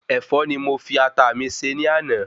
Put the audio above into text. Ẹ̀fọ́ ni mo fi Ata mi se ní àná